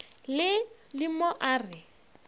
le le mo a re